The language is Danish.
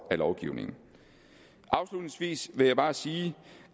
af lovgivningen afslutningsvis vil jeg bare sige